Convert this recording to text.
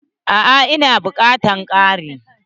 A'a, ina bukatan kari.